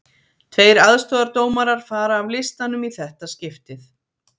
Tveir aðstoðardómarar fara af listanum í þetta skiptið.